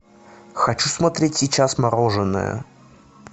хочу смотреть сейчас мороженое